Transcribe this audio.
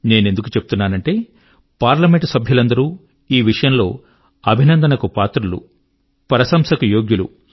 నేనెందుకు చెప్తున్నానంటే పార్లమెంట్ సభ్యులందరూ ఈ విషయంలో అభినందనకు పాత్రులు ప్రశంసకు యోగ్యులు